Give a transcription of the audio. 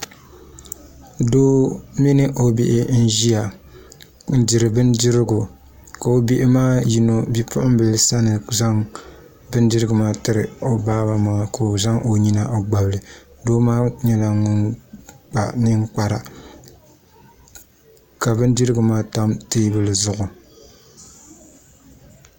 Doo mini o bihi n ʒiya n diri bindirigu ka o bihi maa yino Bipuɣungi maa zaŋ bindirigu maa tiri o baaba maa ka o zaŋ o nyina gbabili doo maa nyɛla ŋun kpa ninkpara ka bindirigu maa tam teebuli zuɣu